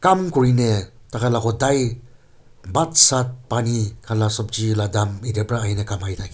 kam kure ne tha kha lah hodai bhat sath pani kha lah sabji lah daam etia para ahina kamai thake.